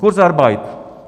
Kurzarbeit.